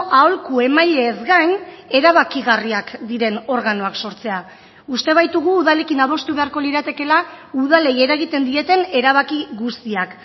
aholku emaileez gain erabakigarriak diren organoak sortzea uste baitugu udalekin adostu beharko liratekeela udalei eragiten dieten erabaki guztiak